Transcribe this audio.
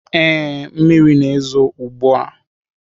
Ee, mmiri na-ezo ugbu a.